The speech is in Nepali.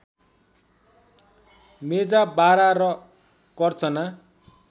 मेजा बारा र कर्चना